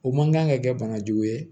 O man kan ka kɛ bana jugu ye